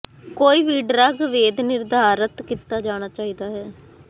ਕੋਈ ਵੀ ਡਰੱਗ ਵੈਦ ਨਿਰਧਾਰਤ ਕੀਤਾ ਜਾਣਾ ਚਾਹੀਦਾ ਹੈ